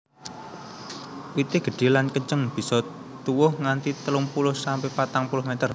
Wité gedhé lan kenceng bisa tuwuh nganti telung puluh sampe patang puluh meter